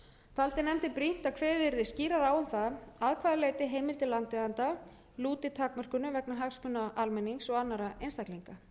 taldi nefndin brýnt að kveðið yrði skýrar á um það að hvaða leyti heimildir landeigenda lúti takmörkunum vegna hagsmuna almennings og annarra einstaklinga